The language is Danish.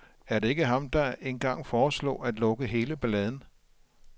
Er det ikke ham, der engang foreslog at lukke hele balladen?